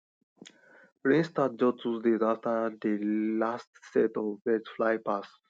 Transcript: rain start just two days after dey last set of birds fly pass